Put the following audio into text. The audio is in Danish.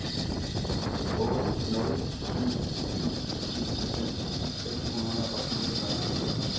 otte nul syv en enoghalvfems seks hundrede og fireogfyrre